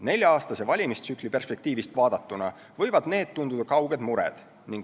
Nelja-aastase valimistsükli perspektiivist vaadatuna võivad need tunduda kauged mured.